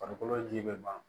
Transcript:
Farikolo ji bɛ ban